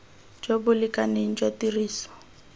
jo bo lekaneng jwa tiriso